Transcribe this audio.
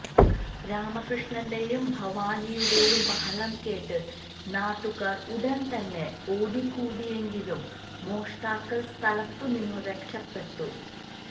രാമകൃഷ്ണന്റെയും ഭവാനിയുടെയും ബഹളം കേട്ട് നാട്ടുകാർ ഉടൻതന്നെ ഓടിക്കൂടിയെങ്കിലും മോഷ്ടാക്കൾ സ്ഥലത്തുനിന്നും രക്ഷപ്പെട്ടു